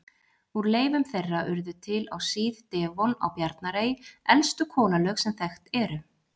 Úr leifum þeirra urðu til á síð-devon á Bjarnarey elstu kolalög sem þekkt eru.